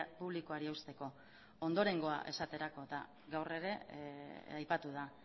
publikoari eusteko ondorengoa esaterako eta gaur ere aipatu da